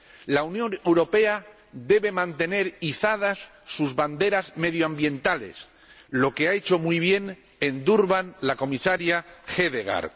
La Unión Europea debe mantener izadas sus banderas medioambientales, lo que ha hecho muy bien en Durban la Comisaria Hedegaard.